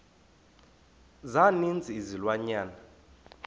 za ninzi izilwanyana